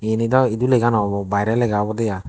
eyani daw edu lega naw obo baairey lega obodey ai.